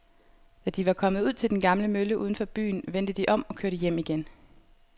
Da de var kommet ud til den gamle mølle uden for byen, vendte de om og kørte hjem igen.